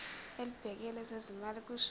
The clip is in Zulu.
elibhekele ezezimali kusho